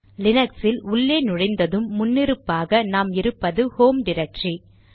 லினக்ஸில் உள்ளே நுழைந்ததும் முன்னிருப்பாக நாம் இருப்பது ஹோம் டிரக்டரி